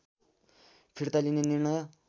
फिर्ता लिने निर्णय